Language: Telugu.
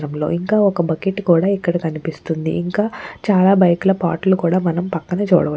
ఇంకా ఒక బకెట్ కూడా ఇక్కడ కనిపిస్తుంది. ఇంకా చాలా బైకు పార్టు లు కూడా మనం పక్కన చూడవ--